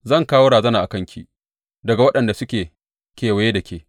Zan kawo razana a kanki daga waɗanda suke kewaye da ke,